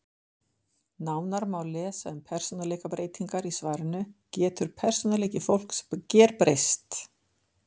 Nánar má lesa um persónuleikabreytingar í svarinu Getur persónuleiki fólks gerbreyst?